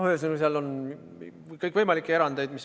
Ühesõnaga, seal on kõikvõimalikke erandeid.